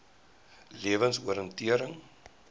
lewensoriëntering